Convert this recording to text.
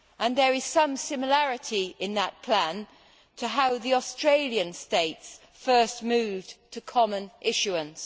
There is some similarity between that plan and how the Australian states first moved to common issuance.